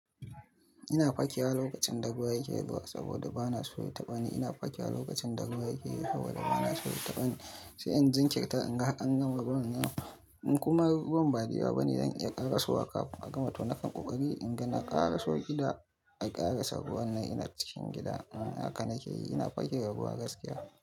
Ina fakewa lokacin da ruwa yake zuwa saboda ba na so ya taɓa ni. Ina fakewa lokacin da ruwa yake zuwa saboda ba na so ya taɓa ni. Sai in jinkirta, in ga har an gama ruwan nan, in kuma ruwan ba da yawa bane, zan iya ƙarasowa kafin a gama to na farko in ga na ƙaraso gida, a ƙarasa ruwan nan ina cikin gida. Haka nake yi, ina fakewa ruwa gaskiya.